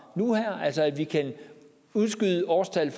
nu og her altså at vi kan udskyde årstallet